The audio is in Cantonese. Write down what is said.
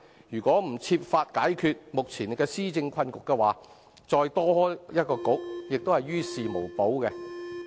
如果不設法解決目前的施政困局，再增設一個政策局也是於事無補。